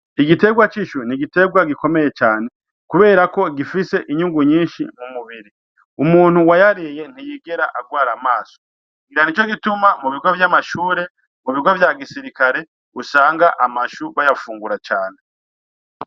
Igitegwa c'ishu, n'igitegwa gikomeye cane, kubera ko gifise inyungu nyinshi mu mubiri, umuntu wayariye ntiyigera agwara amaso, ngira ni co gituma mu bigo vy'amashure, mu bigo vya gisirikare, usanga amashu bayafungura cane.